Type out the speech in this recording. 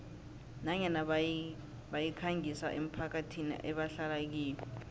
nanyana bayikhangisa emphakathini ebahlala kiyo